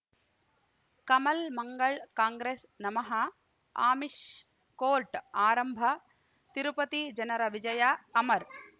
ಕಮಲ್ ಮಂಗಳ್ ಕಾಂಗ್ರೆಸ್ ನಮಃ ಅಮಿಷ್ ಕೋರ್ಟ್ ಆರಂಭ ತಿರುಪತಿ ಜನರ ವಿಜಯ ಅಮರ್